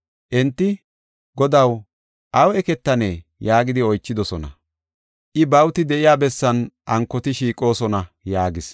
Enti, “Godaw aw eketanee?” yaagidi oychidosona. I, “Bawuti de7iya bessan ankoti shiiqoosona” yaagis.